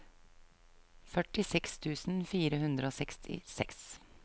førtiseks tusen fire hundre og sekstiseks